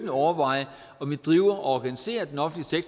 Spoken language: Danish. overveje om vi driver og organiserer den offentlige